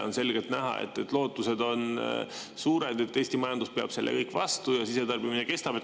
On selgelt näha suurt lootust, et Eesti majandus peab selle kõik vastu ja sisetarbimine kestab.